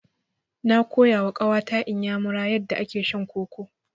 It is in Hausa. Na koyawa ƙawa ta Inyamuya yadda ake shan koko.